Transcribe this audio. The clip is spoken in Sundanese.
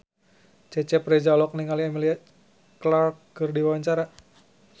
Cecep Reza olohok ningali Emilia Clarke keur diwawancara